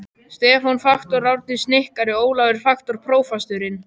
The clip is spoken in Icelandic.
Stefán faktor, Árni snikkari, Ólafur faktor, prófasturinn.